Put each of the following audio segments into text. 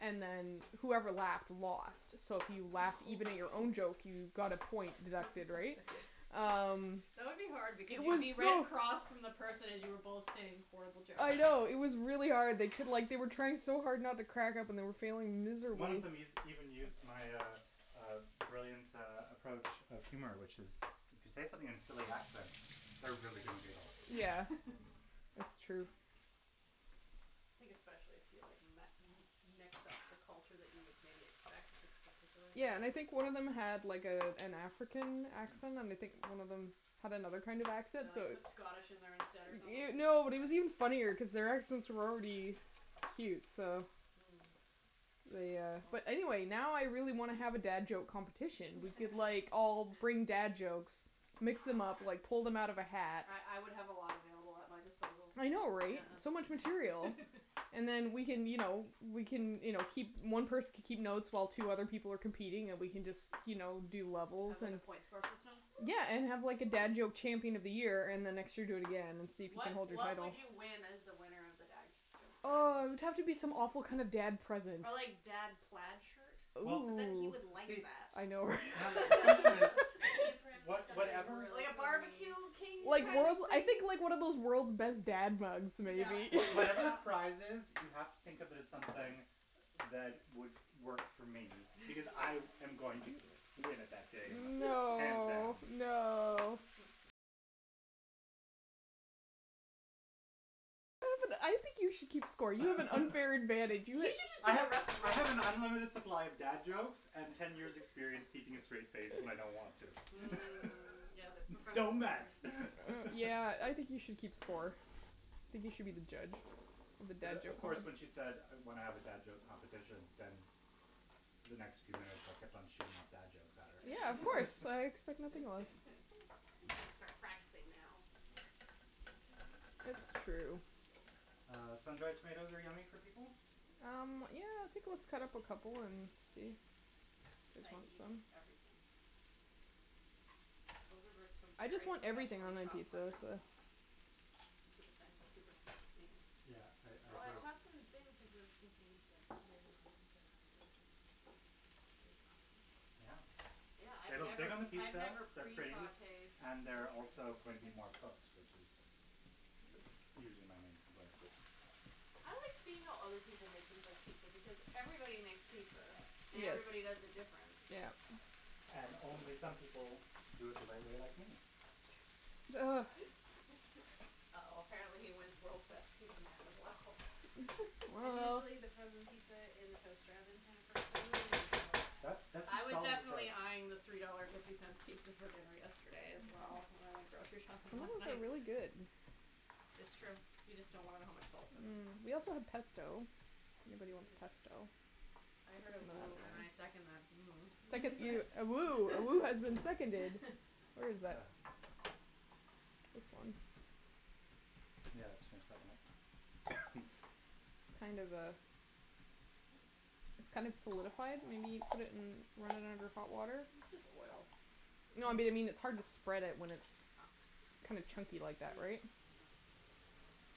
and then whoever laughed lost. So if you laughed, even at your own joke, you got a point deducted, right? Um, That would be hard it because you'd be was right so across from the person as you were both saying horrible jokes. I know, it was really hard. They took like they were trying so hard not to crack up and were failing One of miserably. them us- used even used my uh uh brilliant uh approach of humor, which is If you say something in silly accent, they're really gonna giggle. Yeah, it's true. I think especially if you like met mix up the culture that you would maybe expect for this particular thing. Yeah, and I think one of them had like a an African accent, and I think one of them had another kind of accent, Or so like it put Scottish in there instead or something No, it was even funnier cuz their accents were already cute, so Mm. they uh Oh. But anyway, now I really want to have a dad joke competition. We could like all bring dad jokes, mix them up, like pull them out of a hat. I I would have a lot available at my disposal. I know, right? Yeah. So much material. And then we can, you know, we can, you know, keep One person can keep notes while two other people were competing and we can just, you know, do And levels. have like a point score system? Yeah, and have like a dad joke champion of the year and the next year do again and see if you can What hold your what title. would you win as the winner of the dad joke Oh, champion? it would have to be some awful kinda dad present. Ah, like, dad plaid shirt? Well, But then, he Ooh. would like see. that. I know Natalie, the question is, An apron, was something whatever really Like a corny. barbecue king Yeah. kind of I thing? think, like, one of those world's best dad mugs maybe. What- whatever the prize is, you have to think of it as something that would work for me because I am going to win it that day, hands No, down. no. You should just I be a have referee. I have an unlimited supply of dad jokes and ten years experience keeping a straight face when I don't want to. Mm, yeah, like a Don't professional thing. mess Yeah, I think you should keep score. I think you should be the judge of the dad of joke course, when she said when I have a dad joke competition, then the next few minutes I kept on shooting off dad jokes at her. Yeah, of course. I expect nothing less. You got to start practicing now. It's true. Uh, sun dried tomatoes are yummy for people? Um, yeah, I think let's cut up a couple and see if they I eat eat them. everything. Those are some I just very want everything professionally on my chopped pizza, so. mushrooms. Super thin, super even. Yeah, I I Well, I agree. Bravo. chopped them thin cuz I was thinking you'd like lay it on the pizza and then they would bake on the pizza. Yeah. Yeah, I've They look good never on the I've pizza, never they're pre pretty sautéed and they're also mushrooms. going to be more cooked, which is usually my main complaint, but I like seeing how other people make things like pizza because everybody makes pizza, and everybody does Yes. it different. Yeah. And only some people do it the right way, like me. Ugh. Uh oh, apparently he wins world's best pizza man as well. I'm usually the frozen pizza in the toaster oven kind of person. That's that's a I was solid approach. definitely eyeing the three dollar fifty cents pizza for dinner yesterday as well when I went grocery shopping Some of last those are night. really good. It's true, you just don't want to know how much salt's in them. Mm. We also have pesto if anybody wants Mmm. pesto. I heard a woo, and I second that woo. A second A woo has been seconded. Where is that? This one. Yeah, let's finish that one up. It's kind of uh It's kind of solidified. We need put it in run it under hot water. It's just oil. No, I mean it's hard to spread it when it's kinda chunky Ah like that, right? mm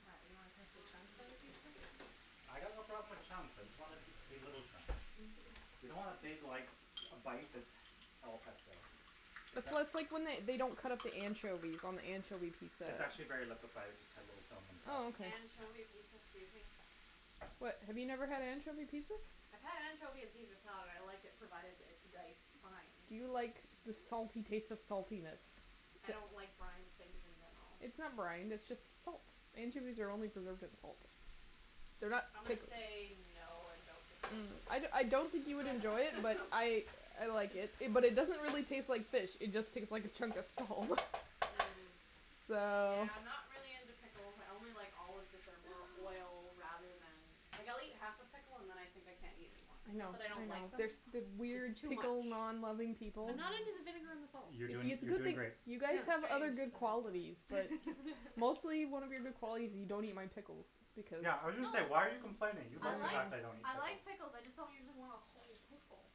What, you don't want pesto chunks on your pizza? mm I got no problem with chunks. I just want it to be little chunks. You don't want a big, like, a bite that's all pesto. So It's a that's like when they don't cut up the anchovies on the anchovy pizza. It's actually very liquified. It just had a little film on top. Oh, okay. Anchovy pizza? Excuse me? What, have you never had anchovy pizza? I've had anchovy on Caesar salad. I like it provided it's diced fine. Do you like the salty taste of saltiness? I don't like brined things in general. It's not brined, it's just salt. Anchovies are only preserved in salt. They're not I'm gonna say no and don't Mm. I I don't think you would enjoy it, but I I like it. But it doesn't really taste like fish, it just tastes like a chunk of salt. Mm, So yeah, I'm not really into pickles. I only like olives if they're more oil rather than Like, I'll eat half a pickle and then I think I can't eat anymore. I It's know, not that I I don't like them know. The weird It's too much. pickle non loving people. I'm not Mm. into the vinegar and the Yeah salt. You're doing It's a strange you're good thing doing great. you but guys have other I good still qualities, but like it. mostly one of your good qualities is you don't eat my pickles because No Yeah, I was going to say, "Why are you complaining?" You I like the like fact I don't eat I pickles. like pickles, I just don't usually want a whole pickle.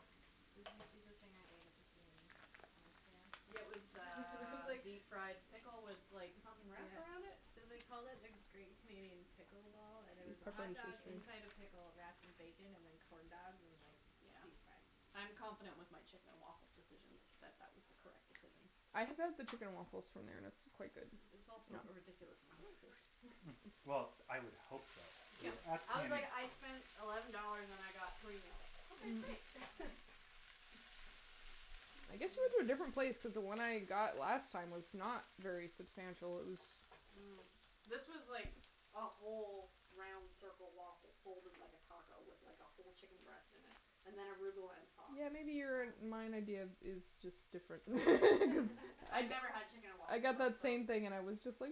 Did you see the thing I ate at the PNE on Instagram? Yeah, it was It was uh like deep fried pickle with like something wrapped around it? So they called it a Great Canadian Pickle Ball, and it was a hotdog inside a pickled wrapped in bacon and then corn dogged and like deep fried. Yeah. I'm confident with my chicken and waffles decision, that that was the correct decision. I have had the chicken and waffles from there and it's quite good. It was also a ridiculous amount of food. Well, I would hope so Yeah. I was like, "I spent eleven dollars and I got three meals." Okay, great. I guess you went to a different place cuz the one I got last time was not very substantial. It was Mm. This was like a whole round circle waffle folded like a taco with, like, a whole chicken breast in it and then arugula and sauce. Yeah, maybe your and my idea is Wow. just different I never had chicken and I waffles, got that so. same thing and it was just huh.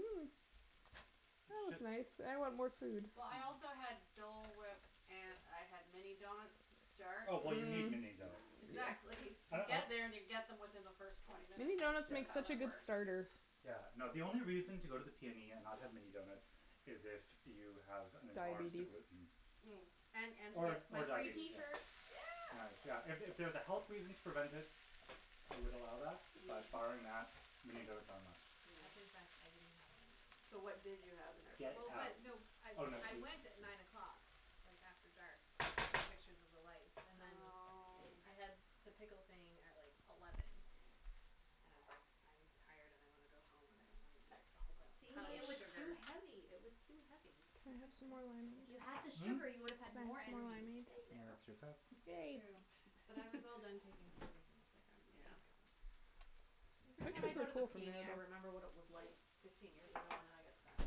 That was nice. I want more food. Well, I also had Dole whip and I had mini donuts to start. Oh, well you need mini donuts. Exactly. You get there and you get them within the first twenty minutes. Mini donuts Yeah, That's make how such a that good works. starter. yeah, no, the only reason to go to the PNE and not have mini donuts is if you have an intolerance to Diabetes. gluten. Mm. And Or or my free diabetes, tee yeah. shirt. Yeah. Yeah, if it was a health reason to prevent it, I would allow that, but barring Mm. that, mini donuts are a must. I Mm. confess, I didn't have any donuts. So what did you have in their Get place? Well, out. but no I I went at nine o'clock like after dark to take pictures of the lights and then. Oh. I had the pickle thing at like eleven and I was like I'm tired and I want to go home and I don't want to eat a whole See, pile of it was too sugar. heavy, it was too heavy. Can It was I have good, some more wine? If you had the though. Hm? sugar, you would Can I have had have some more more energy to wine, stay babe? there. That's your cup. True, Babe but I was all done taking pictures and was like I'm just Yeah. gonna go. Every time I go to the PNE, I remember what it was like fifteen years ago and then I get sad.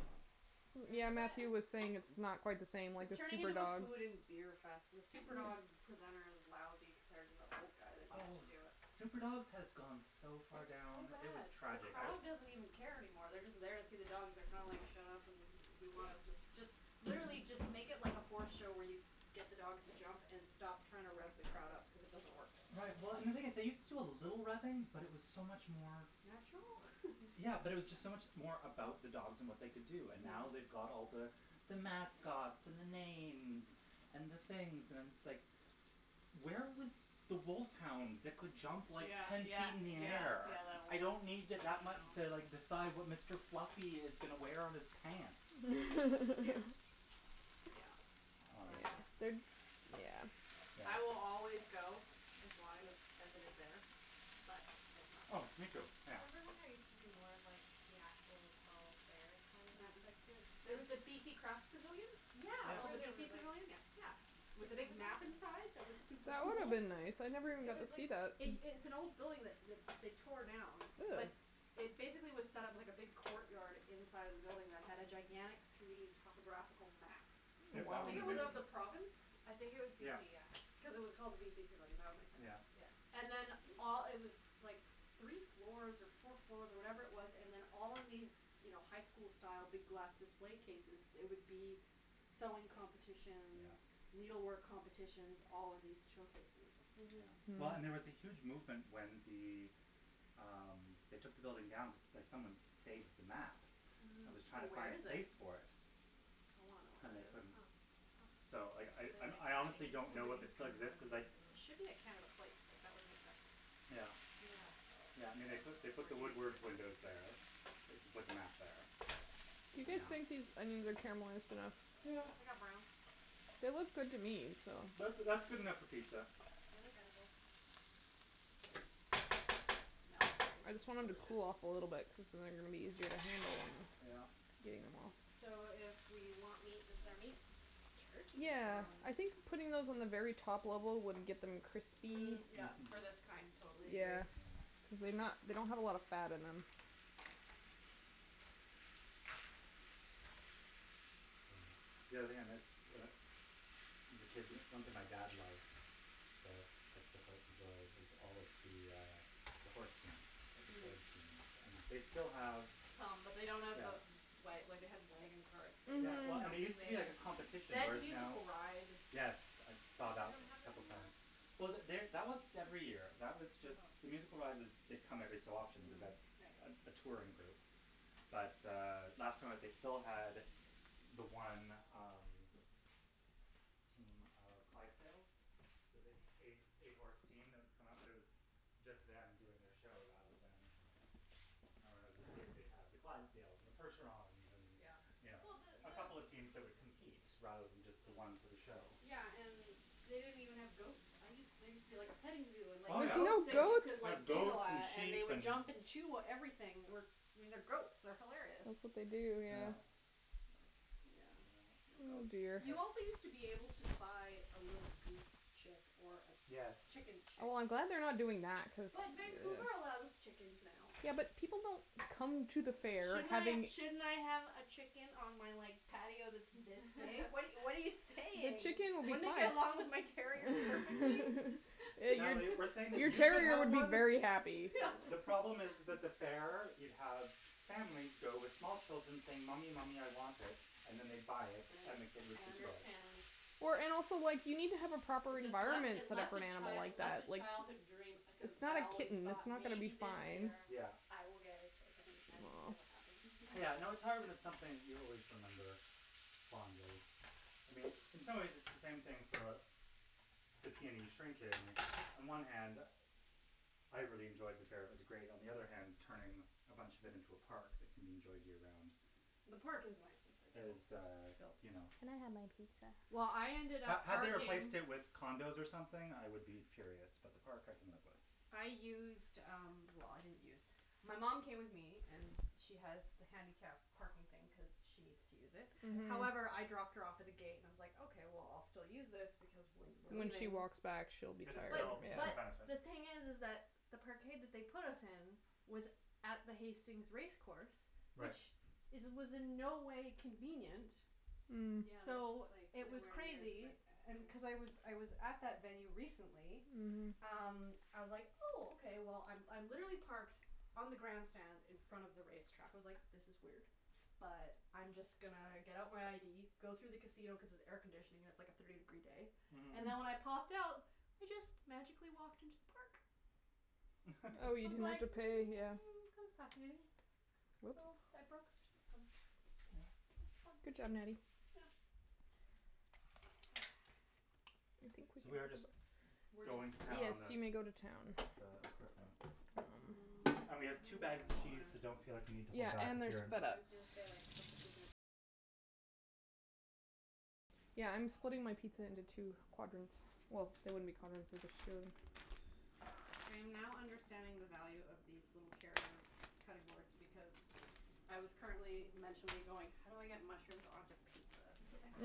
Do you Yeah, remember that? Matthew was saying it's not quite the same, like the It's turning super into a dogs. food and beer fest. The super dog presenter is lousy compared to the old guy that used to Oh. do it. Super dogs has gone so far It's so down, it was bad. The tragic. crowd doesn't even care anymore. They're just there to see the dogs. They're kind of like shut up and we want them just just literally just make it like a horse show where you get the dogs to jump and stop trying to rev the crowd up cuz it doesn't work. Right, well, and the thing is they used to do a little revving, but it was so much more. Natural? Yeah, but it was just so much more about the dogs and what they could do, and now they've Mm. got all the the mascots and the names and the things and it's like where was the wolf hound that could jump like Yeah, ten yeah, feet up in the yeah, air. yeah that one. I I know. don't need to like decide what Mr. Fluffy is going to wear on his pants. Glad I missed the super dogs this year. Yeah. I will always go as long as as it is there. But it's not Oh, me too. there. Yeah. Remember when there used to be more of like the actual fall fair kind of aspect to it? Mhm. The the BC Craft Pavilion? It's Yeah. called the Yeah BC Pavilion? Yeah. Yeah. With the big map Exactly. inside that was super That would have cool? been nice. I never even It got to was like see that. It it's an old building that that they tore down. Really? That it basically was set up like a big court yard inside of the building that had a gigantic three d topographical map. it of the province? I think it was Yeah. BC, yeah. Because it was called the BC Pavilion. That would make sense. Yeah. Yeah. And then all it was like three floors or four floors or whatever it was and then all in these, you know, high school style big glass display cases there would be sewing competitions. Yeah. Needle work competitions all in these showcases. Yeah. Mhm. Well, and there was a huge movement when the um they took the building down that someone saved the map. That Mhm. was So trying to where find is it? space for it. I wanna know where And that they is. couldn't. Huh. So I I I honestly don't know if it still exists cuz like It should be at Canada Place, like, that would make sense. Yeah. Yeah. Yeah, I mean, they put the Woodward's windows there. I think they put the map there. You Yeah. guys Yeah. think these onions are caramelized enough? Yeah, they got brown. They look good to me, so. That's that's good enough for pizza. They look edible. Smells very I just want them to delicious. cool off a little bit cuz then they're going to be easier to handle them. Yeah. Getting them out. So if we want meat, this is our meat? Turkey Yeah. pepperoni? Yeah. I think putting those on the very top level would get them crispy. Mm, Yeah. yeah, for this kind, totally agree. Yeah, because they not they don't have a lot of fat in them. Yeah. The only thing I miss as a kid, one thing my dad loved that I still quite enjoy was all of the uh the horse teams, at the fair, Mm. teams. And they still have Some, but they don't have Yeah. the Wa- like they had wagon carts that Yeah, well, I mean, it used Mhm. to be like a had. competition They had the whereas now musical ride. Yes, I Oh saw they that don't have a that couple anymore? times. Well, they that wasn't every year. That was just the Oh. musical ride was they come every so often cuz Mm. that's Mhm, right. a touring group. But uh last time that they still had the one um team of Clydesdales, the big eight eight horse team that would come up, but it was just them doing their show rather than I remember when I was a kid, they'd have the Clydesdales and the percherons and, Yeah. you Yeah. know. Well, the A couple of teams that would compete rather than just the one for the Mm. show. Yeah, and they didn't even have goats. I used there used to be like a petting zoo and like Oh, There's yeah. goats no that you goats? could Like like giggle goats, and at and they sheep, would and jump and chew everything. I mean, they're goats, they're hilarious. That's what they do, Yeah. yeah. But, yeah, Yeah. no Oh goats. dear. Yeah. You also used to be able to buy a little goose chick. Or a Yes. chicken chick. Oh, I'm glad they're not doing that cuz But Vancouver allows chickens now. Yeah, but people don't come to the fair Shouldn't I having shouldn't I have a chicken on my like patio that's this big? What what are you what are But you saying? chicken would Wouldn't not it get along with my terrier perfectly? Natalie, we're saying Your that your you should terrier have would be one. very happy. The problem is is that the fair you'd have families go with small children saying, "Mommy, mommy, I want it," and then they'd buy it, then the kid would I destroy it. understand. Or and also like, you need to have a proper Just left environment it set up for left an a animal chi- it like left that, a like childhood dream because It's not I a always kitten, it's thought not gonna maybe be this fine. year Yeah. I will get a chicken and it never happened. Yeah, no, it's hard when it's something you always remember fondly. I mean, in some ways it's the same thing for a the PNE On one hand I really enjoyed the fair, it was great. On the other hand, turning a bunch of it into a park that can be enjoyed year round. The park is nice that they built. Is uh, you know Can I have my pizza? Well, I ended Had up had they parking replaced it with condos or something, I would be furious, but the park I can live with. I used um, well, I didn't use My mom came with me and she has the handicap parking thing cuz she needs to use it. Mhm. However, I dropped her off at the gate and I was like, okay, well, I'll still use this because when we're When she leaving. walks back she'll be It is tired still in her But benefit. the thing is is that the parkade that they put us in was at the Hastings race course. Right. Which is was in no way convenient. Mm. Mm, yeah, that's So like it was nowhere near the crazy. best And cuz I effort. was I was at that venue recently Mhm. um, I was like, "Oh, okay." Well, I I'm literally parked on the grandstand in front of the race track. I was like, this is weird, but I'm just gonna get out my ID, go through the casino cuz it's air conditioning, it's like a thirty degree day. Mhm. And then when I popped out, I just magically walked into the park. Oh, I you was didn't have like to pay, yeah. mm, that was fascinating. So, Whoops. I broke their system. Yes. It was fun. Good job, Natty. Yeah. So we are just We're going to just town Yes, on the you may go to town. Mm. I And we dunno have two what bags of I cheese, so want. don't feel like you need to Yeah, hold back and if there's you're feta. Yeah, I'm splitting my pizza into two quadrants. Well, they wouldn't be quadrants if there's two. I am now understanding the value of these little carrier cutting boards because I was currently mentally going how do I get mushrooms onto pizza?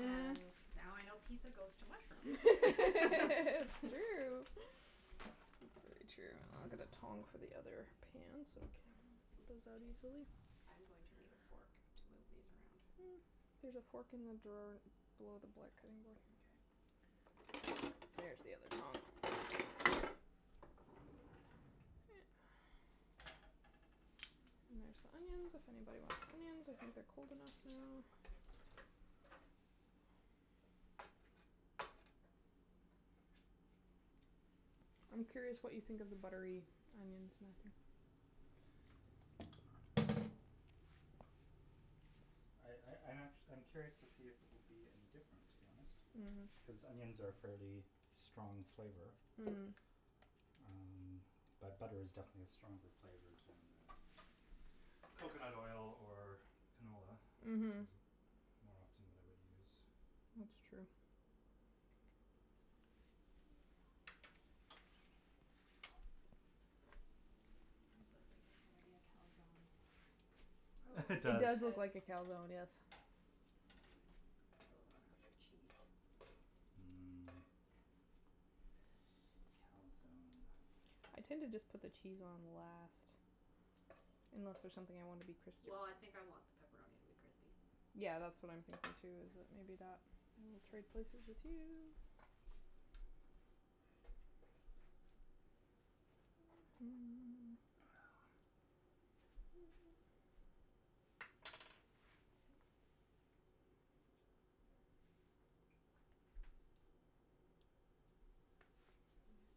And now I know pizza goes to mushrooms. It's true. It's very true. I'll get the tong for the other pan so we can get those out easily. I am going to need a fork to move these around. There's a fork in the drawer below the black cutting board here. Okay. There's the other tong. And there's onions if anybody wants onions. I think they're cold enough now. I'm curious what you think of the buttery onions, Matthew. I I I'm actu- I'm curious to see if it will be any different, to be honest. Mhm. Cuz onions are a fairly strong flavor. Mm. Um, but butter is definitely a stronger flavor than coconut oil or canola. Which Mhm. is more often what I would use. That''s true. This looks like it's gonna be a calzone. Oh It like It does. you does look said like a calzone, yes. Put those on after cheese. Mmm. Calzone. I tend to just put the cheese on last. Unless there's something I wanna be crispy. Well, I think I want the pepperoni to be crispy. Yeah, that's what I'm thinking, too, is that maybe that I will trade places with you.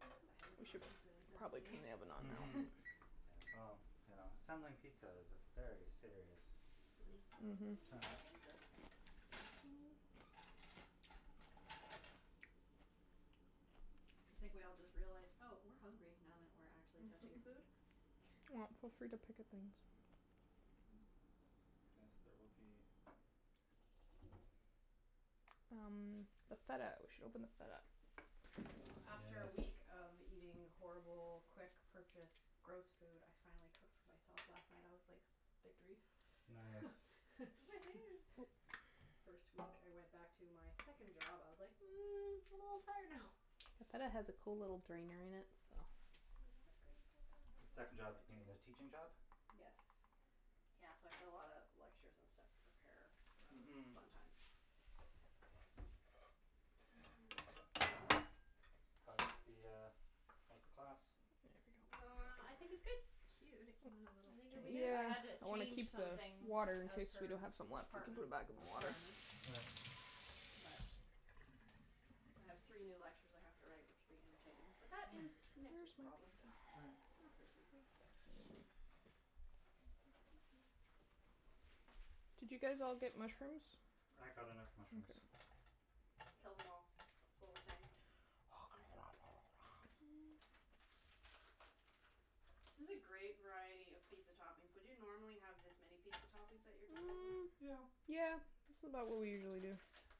The silence We of should pizza probably turn assembly. the oven on now. Mhm. Yeah, well, you know, assembling pizza is a very serious Mhm. task. Thank you. I think we all just realized, "Oh, we're hungry now that we're actually touching food." Well, feel free to pick up things. Yes, there will be. Um, the feta We should open the feta. Wow. After a week Yes. of eating horrible quick purchased gross food, I finally cooked for myself last night. I was like victory. Nice. Woohoo. It's the first week I went back to my second job. I was like, "Mm, I'm a little tired now." The feta has a cool little drainer in it, so Do I want green pepper? The I second job dunno being the teaching job? what Yes. Yes. Yeah, so I had a lot of lectures and stuff to prepare. That was Mhm. fun times. How's the uh how's the class? There we go. Well, I think it's good. I think it'll be good. Cute, it came with a little strainer? I Yeah, had to I want to change keep the some things water. In of case we do her have some left we can put it department back in the water. requirements. Right. But so I have three new lectures I have to write, which will be entertaining, but that is next week's problems. All right. Not this week. Did you guys all get mushrooms? I got enough mushrooms. Mkay. Kill them all, is what we're saying. Oh my god. This is a great variety of pizza toppings. Would you normally have this many pizza toppings at your disposal? Mm, Yeah. yeah. This is about what we usually do.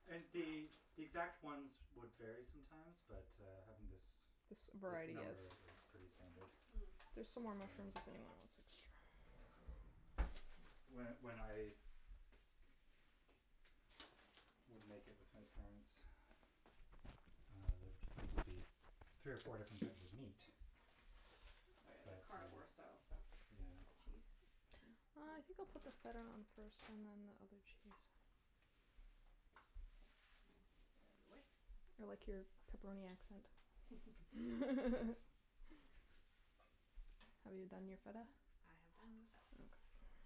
And the Wow. the exact ones would vary sometimes but, uh, having this This this variety number is is pretty standard. Mm. There's some more mushrooms Um if anyone wants extra. When when I would make it with my parents, uh, there'd usually be three or four different types of meat. Oh, yeah, that But, uh carnivore style stuff. Yeah. Cheese? Cheese? Uh, I think I'll put the feta on it first and then the other cheese. K, we'll get out of the way. I like your pepperoni accent. Have you done your feta? I have done the feta. Okay.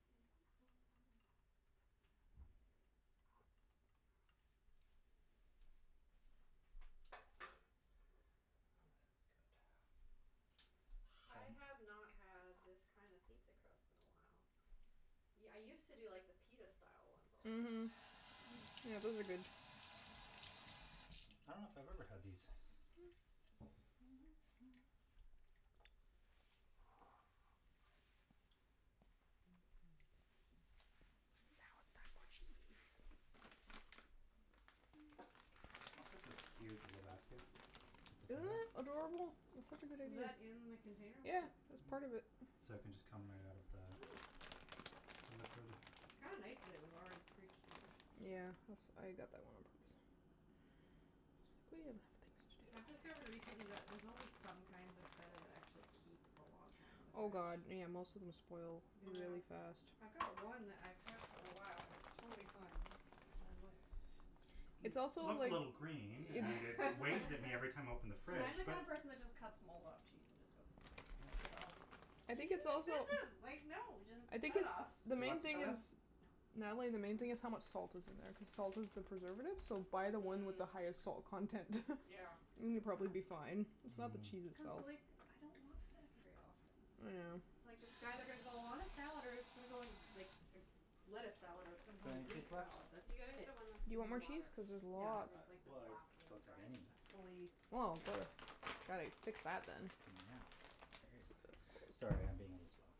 This is good. I have not had this kind of pizza crust in a while. Yeah, I used to do like the pita style ones all the time. Mhm. Yeah, those are good. I dunno if I've ever had these. Okay, just Oh, this is cute the little basket with the Isn't feta. that adorable? It's such a good Was idea. that in the container with Yeah, the it was part of it. So it can just come right out of the the liquid. Kinda nice that it was already pre-cubed. Yeah, als- I got that one on purpose. We have enough I've things to do. discovered recently that there's only some kinds of feta that actually keep a long time in the Oh, fridge. god, yeah. Most of them spoil Yeah. really fast. I've got one that I've had for a while and it's totally fine. I'm like It's also Looks a like little green and it it's waves at me every time I open the fridge I'm the but kind of person that just cuts mold off cheese and just goes, "It's fine." Yeah. I think Cheese it's is also expensive, like, no, just I think cut it it's, off. Do the you main want some thing feta? is No. Natalie, the main thing this is how much salt is in there cuz salt is the preservative, so buy the one with Mm. the highest salt content. Yeah. It's And a you'll good probably be point. fine. It's not the cheese Mm. Cuz, itself. like, I don't want feta very often. Yeah. It's like, it's either gonna go on a salad or it's gonna go in like a lettuce salad or it's gonna Is go there in a any Greek cheese left? salad, that's You gotta get it. the one that's Do you in want the more cheese? water, Cuz there's Yeah. lots. where it's like the Well, I block in don't the have brine any. stuff. Fully Well, gotta fix that, then. Yeah, cherries. Sorry, I'm being a little slow.